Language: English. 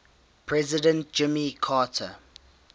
president jimmy carter